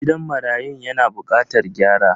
Gidan marayun yana bukatar gyara.